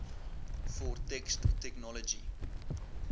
for text technology